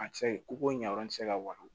A tɛ se koko ɲa yɔrɔ ti se ka wari